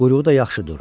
Quyruğu da yaxşı durur.